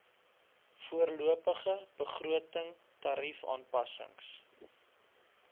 voorlopige begroting tariefaanpassings